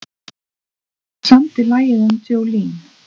Hver samdi lagið um Jolene?